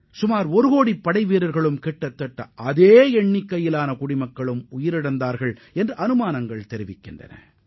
சுமார் ஒருகோடி ராணுவ வீரர்களும் அதே அளவிற்கு அப்பாவி மக்களும் உயிரிழந்ததாக தகவல்கள் தெரிவிக்கின்றன